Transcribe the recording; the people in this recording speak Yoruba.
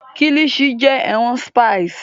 Kilichi jẹ ẹran spiced